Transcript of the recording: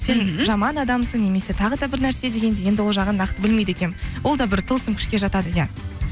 сен жаман адамсың немесе тағы да бірнәрсе дегендей енді ол жағын нақты білмейді екенмін ол да бір тылсым күшке жатады иә